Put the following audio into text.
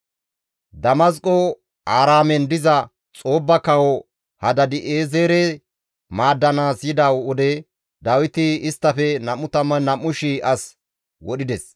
Damasqo Aaraamen diza Xoobba kawo Hadaadi7eezere maaddanaas yida wode Dawiti isttafe 22,000 as wodhides.